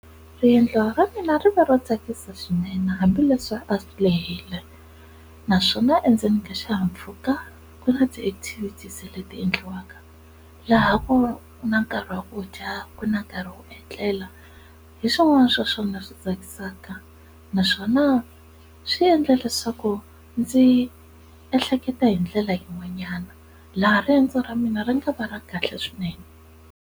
Riendliwa ra mina ri va ro tsakisa swinene hambileswi a lehile naswona endzeni ka xihahampfhuka ku na ti activities leti endliwaka, laha ku na nkarhi wa ku dya ku na nkarhi wo etlela hi swin'wana swa swona swi tsakisaka naswona swi endla leswaku ndzi ehleketa hi ndlela yin'wanyana laha riendzo ra mina ri nga va ra kahle swinene.